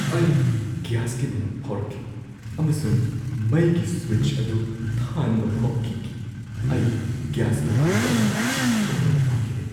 ꯑꯩ ꯒ꯭ꯌꯥꯁꯀꯤ ꯃꯅꯝ ꯐꯥꯎꯔꯛꯈꯤ ꯑꯃꯁꯨꯡ ꯃꯩꯒꯤ ꯁ꯭ꯋꯤꯆ ꯑꯗꯨ ꯊꯥꯟꯕ ꯐꯥꯎ ꯀꯤꯈꯤ ꯫ ꯑꯩ ꯒꯦꯁ ꯄꯣꯈꯥꯏꯕ ꯑꯃ ꯊꯣꯛꯍꯟꯕ ꯄꯥꯝꯈꯤꯗꯦ ꯫